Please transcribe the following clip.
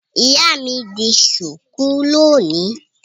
Ìyá mi di ṣùkú lónìí.